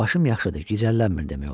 Başım yaxşıdır, gicəllənmir demək olar.